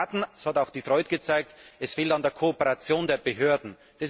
Es fehlt nicht an Taten das hat auch Detroit gezeigt es fehlt an der Kooperation der Behörden.